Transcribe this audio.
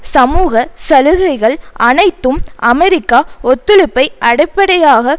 சமூக சலுகைகள் அனைத்தும் அமெரிக்க ஒத்துழைப்பை அடிப்படையாக